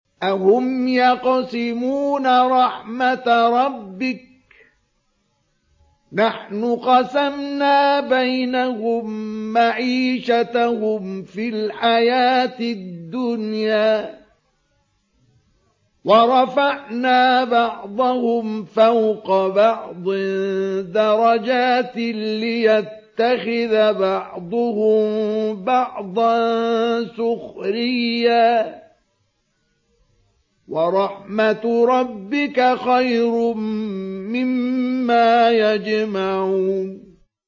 أَهُمْ يَقْسِمُونَ رَحْمَتَ رَبِّكَ ۚ نَحْنُ قَسَمْنَا بَيْنَهُم مَّعِيشَتَهُمْ فِي الْحَيَاةِ الدُّنْيَا ۚ وَرَفَعْنَا بَعْضَهُمْ فَوْقَ بَعْضٍ دَرَجَاتٍ لِّيَتَّخِذَ بَعْضُهُم بَعْضًا سُخْرِيًّا ۗ وَرَحْمَتُ رَبِّكَ خَيْرٌ مِّمَّا يَجْمَعُونَ